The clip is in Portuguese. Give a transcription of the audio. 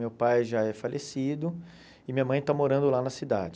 Meu pai já é falecido e minha mãe está morando lá na cidade.